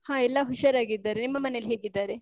ಹಾ ಎಲ್ಲ ಹುಷಾರಾಗಿದ್ದಾರೆ. ನಿಮ್ಮ ಮನೆಲಿ ಹೇಗಿದ್ದಾರೆ?